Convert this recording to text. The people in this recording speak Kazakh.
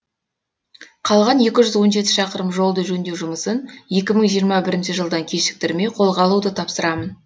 қалған екі жүз он жеті шақырым жолды жөндеу жұмысын екі мың жиырма бірінші жылдан кешіктірмей қолға алуды тапсырамын